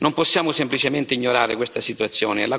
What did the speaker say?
Non possiamo semplicemente ignorare questa situazione.